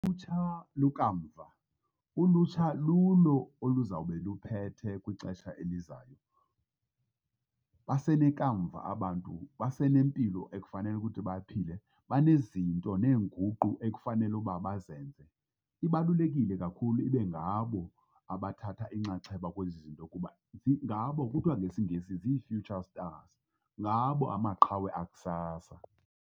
Ulutsha lukamva, ulutsha lulo oluzawube luphethe kwixesha elizayo. Basenekamva abantu, basenempilo ekufanele ukuthi baphile, banezinto neenguqu ekufanele uba bazenze. Ibalulekile kakhulu ibe ngabo abathatha inxaxheba kwezi zinto kuba ngabo kuthiwa ngesiNgesi zii-future stars ngabo amaqhawe akusasa.